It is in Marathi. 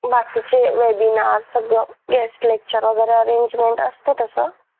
बाकीचे webinar सगळं guest lecture वगैरे arrangement असते तसं